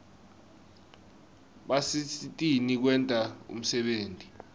basisitn kwenta umsebenti